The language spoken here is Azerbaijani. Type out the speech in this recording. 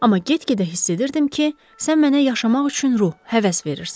Amma get-gedə hiss edirdim ki, sən mənə yaşamaq üçün ruh, həvəs verirsən.